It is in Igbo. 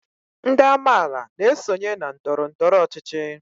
Ndị amaala na-esonye na ndọrọndọrọ ọchịchị